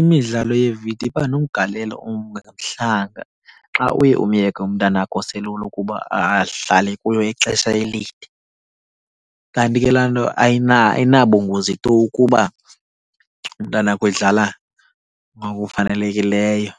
Imidlalo yevidiyo iba nomgalelo ongemhlanga xa uye umyeke umntana wakho oselula ukuba ahlale kuyo ixesha elide. Kanti ke laa nto ayinabungozi tu ukuba umntanakho edlala ngokufanelekileyo.